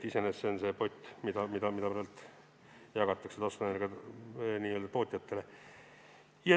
Iseenesest see on see pott, mida jagatakse taastuvenergia tootjatele.